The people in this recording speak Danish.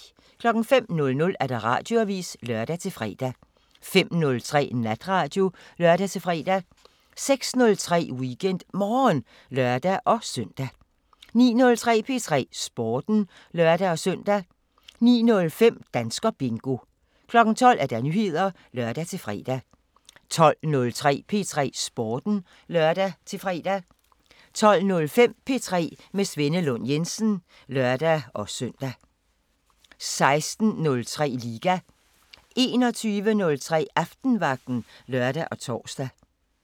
05:00: Radioavisen (lør-fre) 05:03: Natradio (lør-fre) 06:03: WeekendMorgen (lør-søn) 09:03: P3 Sporten (lør-søn) 09:05: Danskerbingo 12:00: Nyheder (lør-fre) 12:03: P3 Sporten (lør-fre) 12:05: P3 med Svenne Lund Jensen (lør-søn) 16:03: Liga 21:03: Aftenvagten (lør og tor)